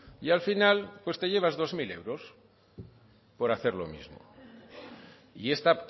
y al final pues te llevas dos mil euros por hacer lo mismo y esta